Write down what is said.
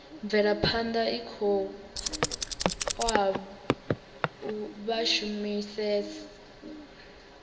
mvelaphana i khou oa vhashumisani